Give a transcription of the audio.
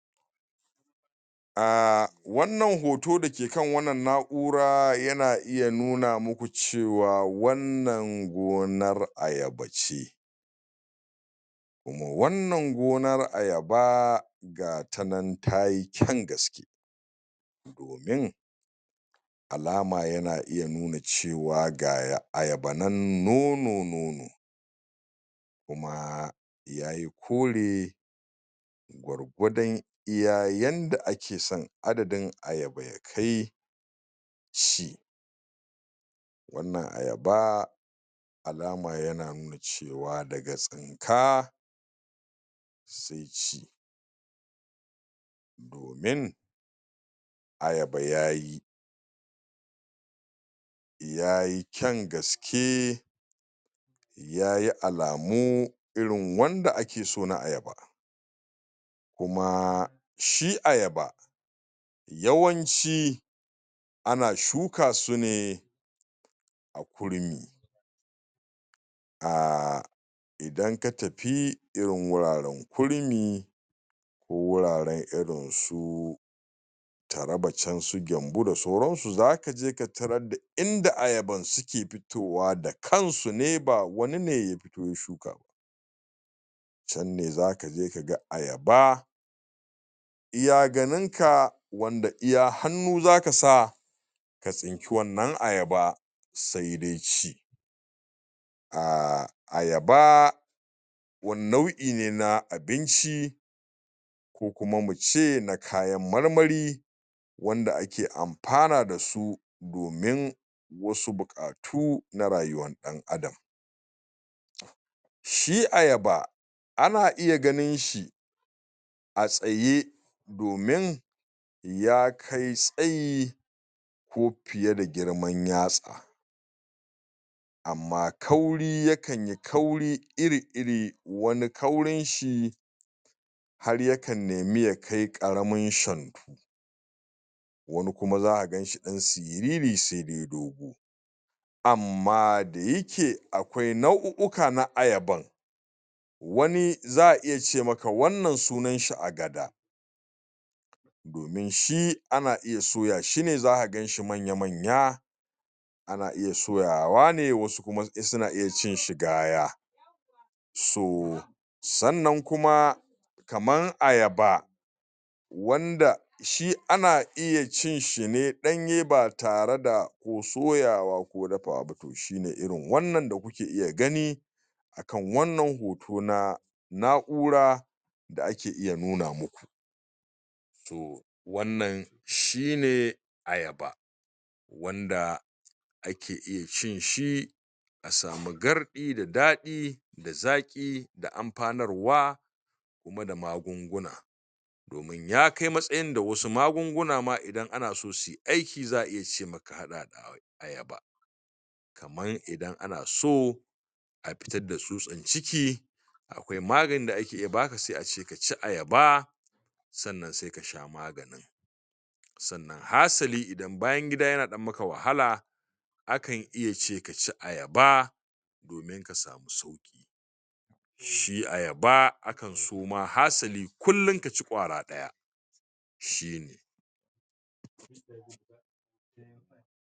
a wannan hoto dake kan wannan na'ura yana iya nuna muku cewa wannan gonar aya bace kuma wannan gonar ayaba gatanan tayi ƙyan gaske domin alama yana iya nuna cewa ga ayaba nan nono nono koma yayi kore gwargwadan iya yanda akesan adadin ayaba ya kai shi wannna ayaba alama yana nuna cewa daga tsinka sai ci domin ayaba yayi yayai ƙyan gaske yayi alamu irin wanda akeso na ayaba kuma shi ayaba yawanci ana shukasu ne a kurmi a idan ka tafi irin guraran kurmi ko wuraran irinsu taraba can su gwabo da sauransu zaka je katarar da inda ayaban suke fitowa da kansu ne ba wani ne ya fito ya shuka ba can ne zakaje kaga ayaba iya ganinka wanda iya hannu zakasa ka tsinki wannan ayaba sai dai ci a ayaba wani nau'ine na abinci ko kuma muce na kayan marmari wanda ake amfana dasu domin wasu buƙatu na rayuwar ɗan adam shi ayaba ana iya ganinshi a tsaye domin ya kai tsayi ko fiye da girman ya tsa amma kauri ya kanyi kauri iri iri wani kaurinshi har ya kan neme ya kai ƙaramin shantu wani kuma zaka ganshi ɗan siriri sai dai dogo amma da yake aƙwai nau'u uka na ayaban wani za a iya ce maka wannna sunanshi agada domin shi ana iya suyashi ne zaka ganshi manya manya ana iya suyawa ne wasu kuma suna iya cinshi gaya so sannan kuma kaman ayaba wanda shi ana iya cinshi ne ɗanye ba tare da ko soyawa ko dafawa ba to shine irin wannan da kuke iya gani akan wannan hoto na na'ura dsa ake iya nuna muku to wannan shine ayaba wanda ake iya cinshi a samu garɗi da daɗi da zaƙi da amfanarwa kuma da magunguna domin ya kai matsayin da wasu magunguna ma idan anaso sunyi aiki za a iya ce maka ka haɗa da ayaba kaman idan anaso a fitar da tsutsar ciki aƙwai maganin da ake iya baka sai a ce kace ayaba sannan sai kasha magananin sannan hasali idan bayan gida yana dan maka wahala akan iya ce kaci ayaba ka samu sauki shi ayaba akanso ma hasali kullin kaci ƙwara daya shine